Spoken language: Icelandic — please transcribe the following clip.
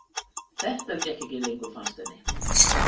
Þetta gekk ekki lengur fannst henni.